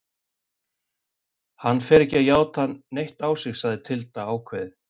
Hann fer ekki að játa neitt á sig, sagði Tilda ákveðin.